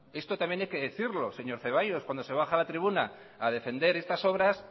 esto también hay que decirlo señor zaballos cuando se baja a la tribuna a defender estas obras